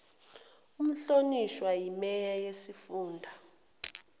umhlonishwa imeya yesifunda